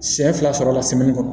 Siɲɛ fila sɔrɔ la